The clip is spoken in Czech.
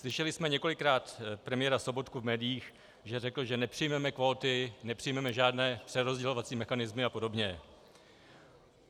Slyšeli jsme několikrát premiéra Sobotku v médiích, že řekl, že nepřijmeme kvóty, nepřijmeme žádné přerozdělovací mechanismy a podobně.